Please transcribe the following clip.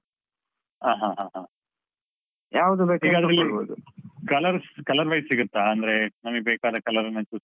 ಆ ಹ ಹ ಹ. colours colour wise ಸಿಗುತ್ತಾ? ಅಂದ್ರೆ ನಮಿಗ್ ಬೇಕಾದ colour ಅನ್ನ choose .